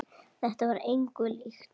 Þetta var engu líkt.